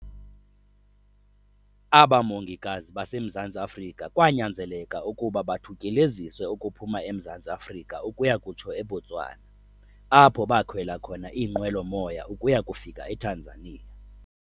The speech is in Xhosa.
Aba mongikazi baseMzantsi Afrika kwanyanzeleka ukuba bathutyeleziswe ukuphuma eMzantsi Afrika ukuya kutsho eBotswana, apho bakhwela khona iinqwelo-moya ukuya kufika eTanzania.